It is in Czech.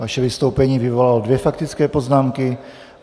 Vaše vystoupení vyvolalo dvě faktické poznámky.